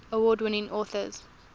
award winning authors